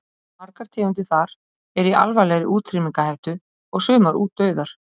Margar tegundir þar eru í alvarlegri útrýmingarhættu og sumar útdauðar.